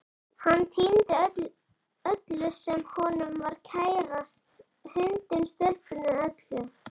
Hann týndi öllu sem honum var kærast, hundinum, stelpunni, öllu.